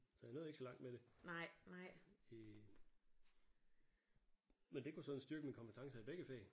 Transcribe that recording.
Så jeg nåede ikke så langt med det i men det kunne sådan styrke mine kompetencer i begge fag